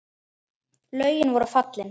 Lögin voru valin.